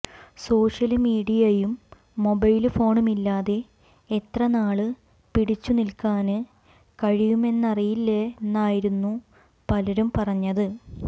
social മീഡിയയും mobile ഫോണുമില്ലാതെ എത്ര നാള് പിടിച്ചുനില്ക്കാന് കഴിയുമെന്നറിയില്ലെന്നായിരുന്നു പലരും പറഞ്ഞത്